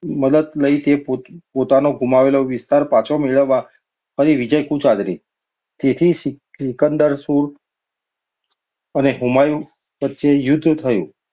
મદદ લઈ પોતાનો ગુમાવેલો વિસ્તાર પાછો મેળવવા ફરી વિજયકૂચ આદરી. તેથી સી~સિકંદર સૂર અને હુમાયુ વચ્ચે યુદ્ધ થયું.